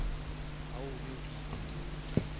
ha ho ne ho itswe